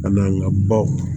A n'an ka baw